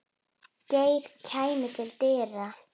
Geir kæmi til dyra.